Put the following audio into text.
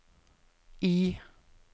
I